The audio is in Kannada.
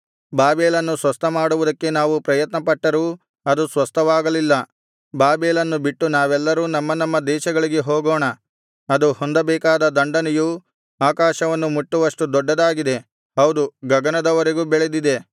ಬಾಬೆಲನ್ನು ಸ್ವಸ್ಥಮಾಡುವುದಕ್ಕೆ ನಾವು ಪ್ರಯತ್ನಪಟ್ಟರೂ ಅದು ಸ್ವಸ್ಥವಾಗಲಿಲ್ಲ ಬಾಬೆಲನ್ನು ಬಿಟ್ಟು ನಾವೆಲ್ಲರೂ ನಮ್ಮ ನಮ್ಮ ದೇಶಗಳಿಗೆ ಹೋಗೋಣ ಅದು ಹೊಂದಬೇಕಾದ ದಂಡನೆಯು ಆಕಾಶವನ್ನು ಮುಟ್ಟುವಷ್ಟು ದೊಡ್ಡದಾಗಿದೆ ಹೌದು ಗಗನದವರೆಗೂ ಬೆಳೆದಿದೆ